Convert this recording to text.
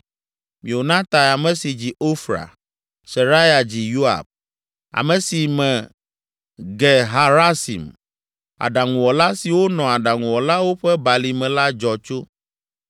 Meonatai, ame si dzi Ofra. Seraya dzi Yoab, ame si me Ge Harasim, aɖaŋuwɔla siwo nɔ Aɖaŋuwɔlawo ƒe Balime la dzɔ tso.